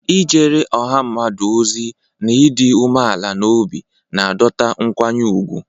Ijere ọha mmadụ ozi na ịdị umeala n'obi na-adọta nkwanye ùgwù.